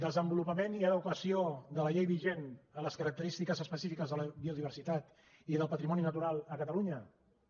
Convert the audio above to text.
desenvolupament i adequació de la llei vigent a les característiques específiques de la biodiversitat i del patrimoni natural a catalunya també